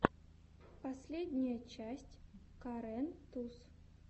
последняя часть карен туз